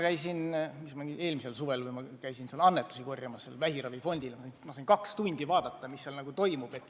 Eelmisel suvel ma käisin seal korjamas annetusi vähiravifondile ja siis ma sain kaks tundi vaadata, mis seal toimub.